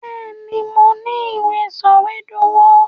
Bẹ́ẹ̀, mo ní i ìwé sọ̀wédowó.